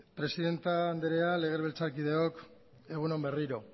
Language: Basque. presidente andrea legebiltzakideok egun on berriro